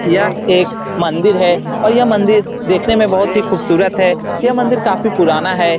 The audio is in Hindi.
यह एक मंदिर है और यह मंदिर देखने में बहुत ही खूबसूरत है यह मंदिर काफी पुराना है।